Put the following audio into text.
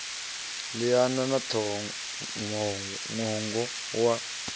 liana na ṱhoho ṅwongo wa